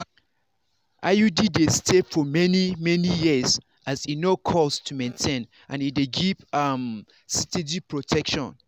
iud dey stay for many-many years as e no cost to maintain and e dey give um steady protection.